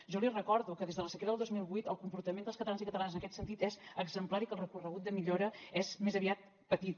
jo li recordo que des de la sequera del dos mil vuit el comportament dels catalans i catalanes en aquest sentit és exemplar i que el recorregut de millora és més aviat petit